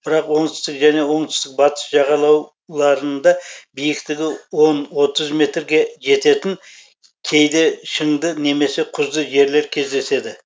бірақ оңтүстік және оңтүстік батыс жағалау ларында биіктігі он отыз метр жететін кейде шыңды немесе құзды жерлер кездеседі